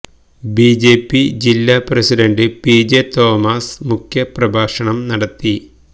B J P ജില്ലാ president P J Thomas മുഖ്യപ്രഭാഷണം നടത്തി